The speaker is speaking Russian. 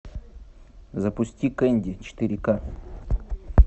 запусти кэнди четыре ка